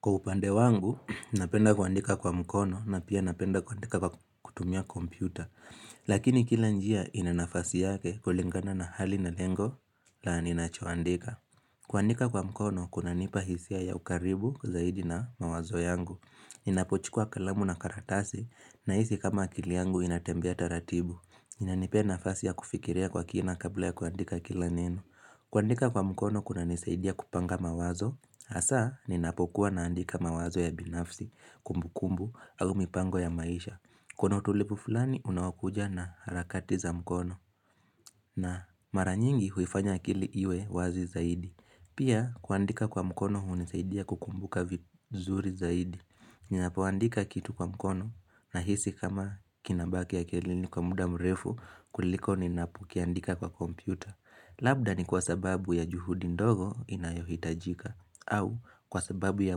Kwa upande wangu, napenda kuandika kwa mkono na pia napenda kuandika kwa kutumia kompyuta. Lakini kila njia inanafasi yake kulingana na hali na lengo la aninachowandika. Kuandika kwa mkono, kuna nipa hisia ya ukaribu kuzahidi na mawazo yangu. Inapochikua kalamu na karatasi, na hisi kama akili yangu inatembea taratibu. Inanipena fasi ya kufikirea kwa kina kabla ya kuandika kila neno. Kuandika kwa mkono, kuna nisaidia kupanga mawazo. Asa ninapokuwa naandika mawazo ya binafsi, kumbu kumbu au mipango ya maisha. Kono tulipu fulani unawakuja na harakati za mkono na mara nyingi huifanya kili iwe wazi zaidi. Pia kuandika kwa mkono unisaidia kukumbuka vizuri zaidi. Ninapuandika kitu kwa mkono na hisi kama kinabake ya kelini kwa muda mrefu kuliko ninapukiandika kwa kompyuta. Labda ni kwa sababu ya juhudi ndogo inayohitajika. Au kwa sababu ya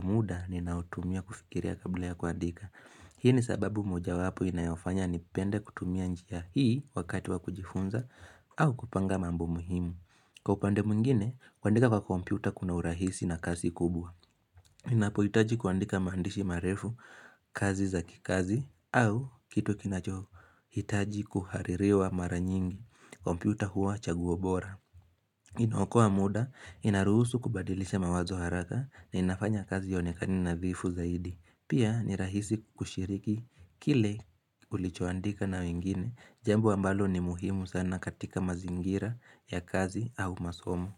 muda ninautumia kufikiria kabla ya kuandika. Hii ni sababu moja wapo inayofanya nipende kutumia njia hii wakati wa kujifunza. Au kupanga mambu muhimu Kwa upande mungine, kuandika kwa kompyuta kuna urahisi na kazi kubwa. Inapo itaji kuandika mandishi marefu, kazi za kikazi au kitu kinachogo, itaji kuharirewa mara nyingi kompyuta huwa chaguobora Inooko wa muda, inarusu kubadilisha mawazo haraka na inafanya kazi yone kanina vifu zaidi. Pia ni rahisi kushiriki. Kile ulichoandika na wengine, jambu ambalo ni muhimu sana katika mazingira ya kazi au masomo.